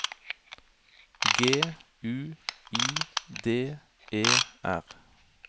G U I D E R